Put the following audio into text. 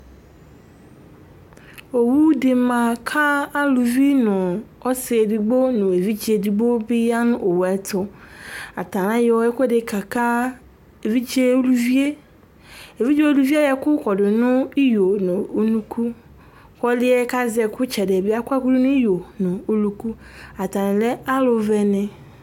Owu di ma ka uluvi nu ɔsiedigbo nu uluviedigbo di ya nu owue tu ata ayɔ ɛkuɛdi kaka su ividze uluvie evidze uluvie ayɔ ɛku kɔdu nu iɣo nu unuku ku ɔliɛ azɛ ɛku itsɛdi di yɛ bi akɔ ɛku du nu iɣo nu unuku ata lɛ aluvɛni